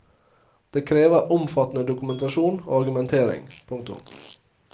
Det krever omfattende dokumentasjon og argumentering. punktum